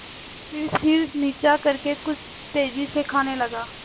फिर सिर नीचा करके कुछ तेजी से खाने लगा